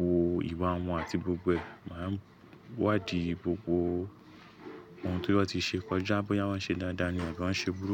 wò ìwà wọn àti gbogbo ẹ̀. Màá wádìí gbogbo ohun tó ti won tiṣe kọjá, bóyá wọ́n ṣe dáadáa ni àbí wọ́n ṣe burúkú.